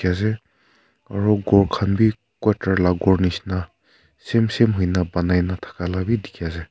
aro ghor khan b quarter la ghor nishena same same hoi na banai na thaka la b dikhi ase.